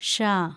ഷ